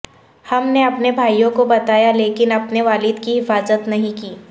حم نے اپنے بھائیوں کو بتایا لیکن اپنے والد کی حفاظت نہیں کی